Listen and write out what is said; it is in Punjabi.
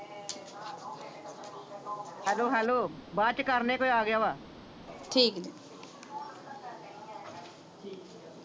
ਹੈਲੋ ਹੈਲੋ ਬਾਅਦ ਚ ਕਰਨੇ ਕੋਈ ਆ ਗਿਆ ਵਾ ਠੀਕ ਜੇ